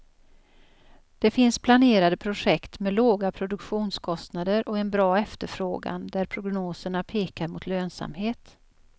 Det finns planerade projekt med låga produktionskostnader och en bra efterfrågan där prognoserna pekar mot lönsamhet.